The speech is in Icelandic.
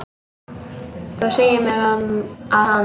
Þú sagðir mér að hann.